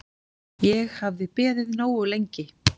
Ég hafði beðið nógu lengi.